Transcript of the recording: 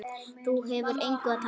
Þú hefur engu að tapa.